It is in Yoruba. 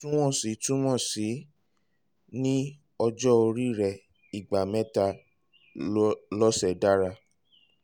ìwọ̀ntúnwọ̀nsì túmọ̀ sí ní ọjọ́ orí rẹ ìgbà mẹ́ta lọ́sẹ̀ dára